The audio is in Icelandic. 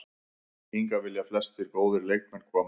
Hingað vilja flestir góðir leikmenn koma.